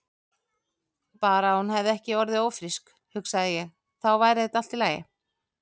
Bara að hún hefði ekki orðið ófrísk, hugsaði ég, þá væri þetta allt í lagi.